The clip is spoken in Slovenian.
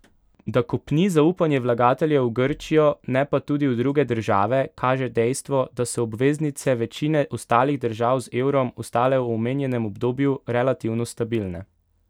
Da kopni zaupanje vlagateljev v Grčijo, ne pa tudi v druge države, kaže dejstvo, da so obveznice večine ostalih držav z evrom ostale v omenjenem obdobju relativno stabilne.